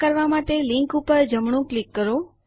આવું કરવા માટે લીંક ઉપર જમણું ક્લિક કરો